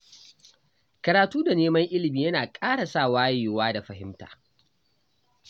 Karatu da neman ilimi yana ƙara sa wayewa da fahimta.